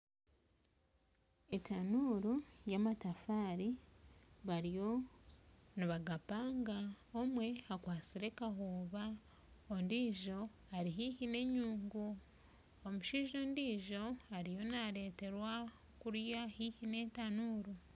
Etanuru y'amatafari bariyo nibagapanga omwe akwasire kahuba ondijo Ari haihi n'enyungu omushaija ondijo ariyo nareterwa kuriya haihi n'etanuru.